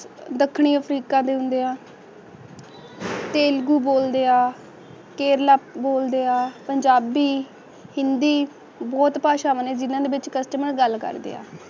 ਦੱਖਣੀ ਅਫਰੀਕਾ ਦੇ ਹੁੰਦਿਆਂ ਤੇਲਗੂ ਬੋਲਦੇ ਆ ਕੇਰਲਾ ਬੋਲਦੇ ਆ ਪੰਜਾਬੀ ਹਿੰਦੀ ਬੂਟ ਭਾਸ਼ਾ ਵੰਨਗੀਆਂ ਵਿੱਚ ਕੁਸਤੂਮੇਰਾਨ ਨਾਲ ਗੱਲ ਕਰਦੇ ਆ